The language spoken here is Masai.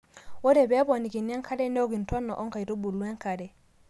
ore pee eponikini enkare neok intona oo nkaitubu enkare